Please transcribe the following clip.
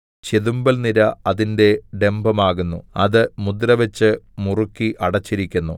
ചെതുമ്പൽനിര അതിന്റെ ഡംഭമാകുന്നു അത് മുദ്രവച്ച് മുറുക്കി അടച്ചിരിക്കുന്നു